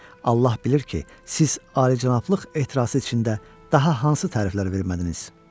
Allah bilir ki, siz alicənablıq etirası içində daha hansı təriflər vermədiniz.